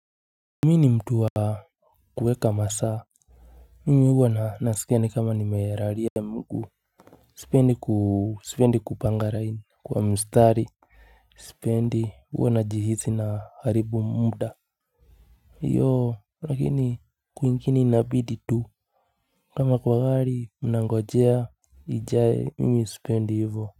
Mi ni mtu wa kuweka masaa. Mimi huwa na nasikia kama nimelalia mguu. Sipendi kupanga raini kwa mustari. Sipendi huwa najihisi na haribu muda hiyo lakini kwingine inabidi tu. Kama kwa gari mnangojea ijae mimi sipendi hivo.